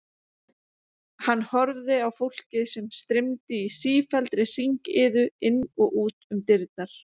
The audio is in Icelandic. Hann horfði á fólkið sem streymdi í sífelldri hringiðu inn og út um dyrnar.